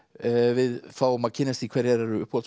við fáum að kynnast því hverjar eru